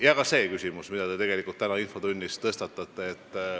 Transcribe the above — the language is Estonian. Nii ka see küsimus, mille te tänases infotunnis esitasite.